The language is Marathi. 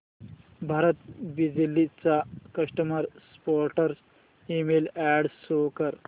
भारत बिजली चा customer support email address show कर